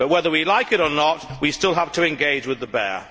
But whether we like it or not, we still have to engage with the bear.